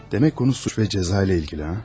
Demək mövzu cinayət və cəza ilə bağlıdır, hə?